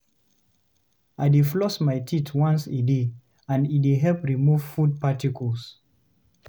I dey floss my teeth once a day, and e dey help remove food particles.